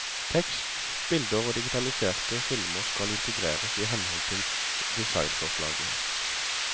Tekst, bilder og digitaliserte filmer skal integreres i henhold til designforslaget.